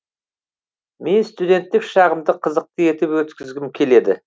мен студенттік шағымды қызықты етіп өткізгім келеді